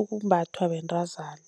umbathwa bentazana.